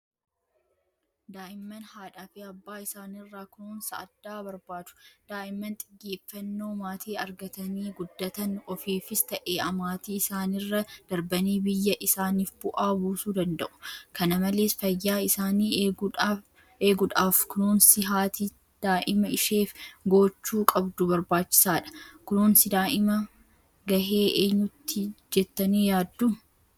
Daa'imman haadhaafi abbaa isaaniirraa kunuunsa addaa barbaadu. Daa'immaan xiyyeeffannoo maatii argatanii guddatan ofiifis ta'ee maatii isaaniirra darbanii biyya isaaniif bu'aa buusuu danda'u. Kana malees fayyaa isaanii eeguudhaaf kunuunsi haati Daa'ima isheef gochuu qabdu barbaachisaadha. Kunuunsi daa'imaa gahee eenyuuti jettanii yaaddu?